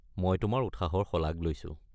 মই তোমাৰ উৎসাহৰ শলাগ লৈছো।